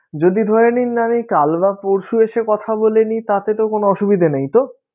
যদি ধরে নিন আমি কাল বা পরশু এসে কথা বলে নিই তাতে তো কোনো অসুবিধা নেই তো?